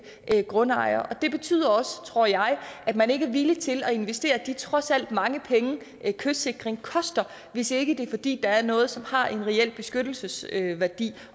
grundejer og det betyder også tror jeg at man ikke er villig til at investere de trods alt mange penge kystsikring koster hvis ikke det er fordi der er noget som har en reel beskyttelsesværdi